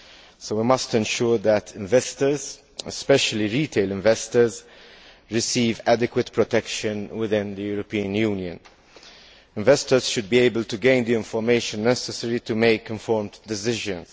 So, we must ensure that investors, especially retail investors, receive adequate protection within the European Union. Investors should be able to gain the information necessary to make informed decisions.